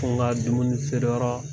Ko n ka dumunifeereyɔrɔ